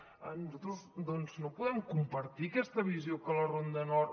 nosaltres doncs no podem compartir aquesta visió que la ronda nord